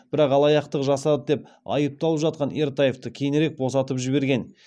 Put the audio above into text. бірақ алаяқтық жасады деп айыпталып жатқан ертаевты кейінірек босатып жіберген